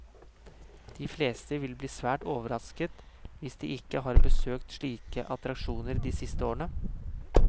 De fleste vil bli svært overrasket hvis de ikke har besøkt slike attraksjoner de siste årene.